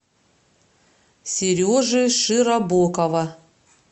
сережи широбокова